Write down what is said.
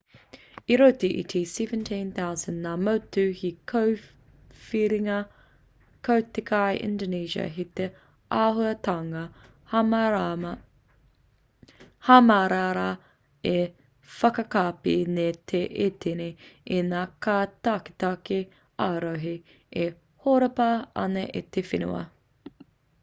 i roto i te 17,000 ngā motu hei kōwhiringa ko te kai indonesia hei āhuatanga hamarara e whakakapi nei i te tini i ngā kai taketake ā-rohe e horapa ana i te whenua